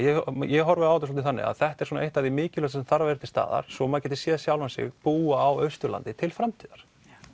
ég horfi á þetta þannig að þetta er eitt af því mikilvægasta sem þarf að vera til staðar svo maður geti séð sjálfan sig búa á Austurlandi til framtíðar